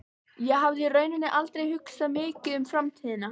Ég hafði í rauninni aldrei hugsað mikið um framtíðina.